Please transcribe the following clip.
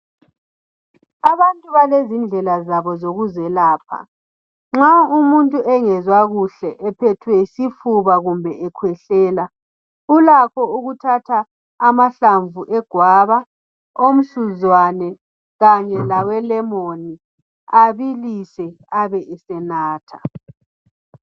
Abantu balezindlela zabo zokuzelapha nxa umuntu engezwakuhle ephethwe yisifuba kumbe ekhwehlela ulakho ukuthatha amahlamvu egwaba, omsuzwane kanye lawelemoni abilise abe esenatha.